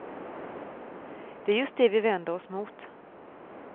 Det är just det vi vänder oss mot.